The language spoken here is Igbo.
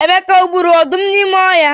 Emeka o gburu ọdụm nọ n'ime ọhịa?